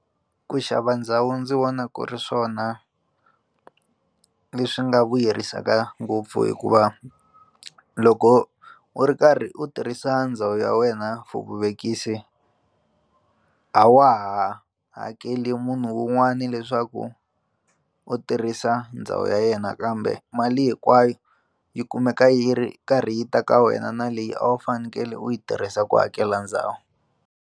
Ku xava ndhawu ndzi vona ku ri swona leswi nga vuyerisaka ngopfu hikuva loko u ri karhi u tirhisa ndhawu ya wena for vuvekisi a wa ha hakeli munhu un'wana leswaku u tirhisa ndhawu ya yena kambe mali hinkwayo yi kumeka yi ri karhi yi ta ka wena na leyi a wu fanekele u yi tirhisa ku hakela ndhawu.